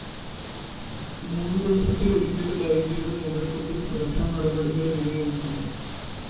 മൂന്നു ദിവസത്തിലൊരിക്കല്‍ ഒരു ഐജിയുടെ നേതൃത്വത്തില്‍ സുരക്ഷാനടപടികള്‍ വിലയിരുത്തുന്നു